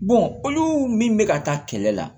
olu min bɛ ka taa kɛlɛ la